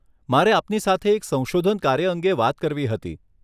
મારે આપની સાથે એક સંશોધન કાર્ય અંગે વાત કરવી હતી.